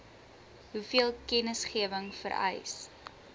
hoeveel kennisgewing vereis